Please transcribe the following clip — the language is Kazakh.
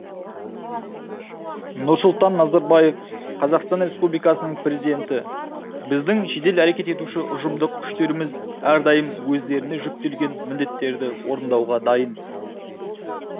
нұрсұлтан назарбаев қазақстан республикасының президенті біздің жедел әрекет етуші ұжымдық күштеріміз әрдайым өздеріне жүктелген міндеттерді орындауға дайын